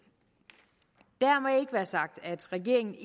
dermed ikke være sagt at regeringen